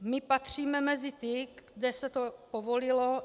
My patříme mezi ty, kde se to povolilo.